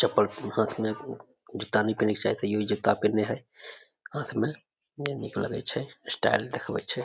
चप्पल हाथ मे एगो जूता नए पहने के चाही तइयो जूता पिहिन्ने हेय हाथ मे नय नीक लगे छै स्टाइल देखावे छै ।